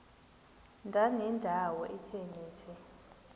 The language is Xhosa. ndanendawo ethe nethe